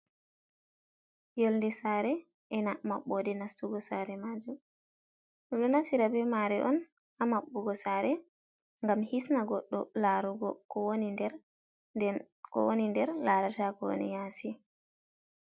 Yolde sare ena maɓɓode nastugo sare majum, ɗum ɗo naftira be mare on ha maɓɓugo sare gam hisna goɗɗo larugo den ko woni nder larata ko woni yasi.